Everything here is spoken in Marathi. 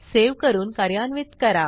सेव्ह करून कार्यान्वित करा